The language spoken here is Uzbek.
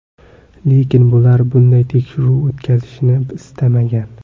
Lekin ular bunday tekshiruv o‘tkazilishini istamagan.